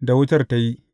da wutar ta yi.